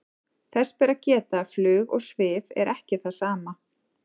þess ber að geta að flug og svif er ekki það sama